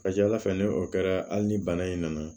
Ka ca ala fɛ ni o kɛra hali ni bana in nana